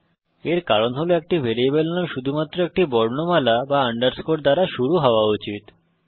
এর কারণ হল একটি ভ্যারিয়েবল নাম শুধুমাত্র একটি বর্ণমালা বা আন্ডারস্কোর দ্বারা শুরু হওয়া উচিত